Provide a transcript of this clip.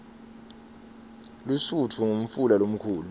lusutfu ngumfula lomkhulu